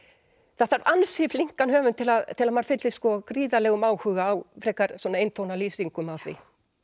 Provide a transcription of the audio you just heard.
það þarf ansi flinkan höfund til að til að maður fyllist gríðarlegum áhuga á frekar svona eintóna lýsingum af því